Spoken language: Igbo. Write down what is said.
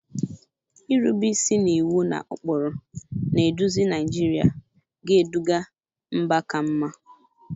Irube isi n'iwu na ụkpụrụ na-eduzi Naijiria ga-eduga mba ka mma.